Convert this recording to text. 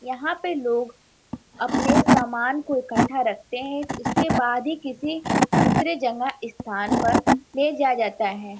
यहाँ पे लोग अपने सामान को इकठ्ठा रखते हैं। उसके बाद ही किसी दूसरे जगह स्थान पर ले जाया जाता है।